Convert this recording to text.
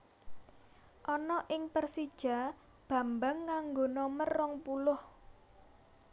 Ana ing Persija Bambang nganggo nomer rong puluh